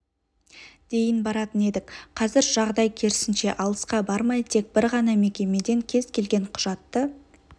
дейін баратын едік қазір жағдай керісінше алысқа бармай тек бір ғана мекемеден кез келген құжатты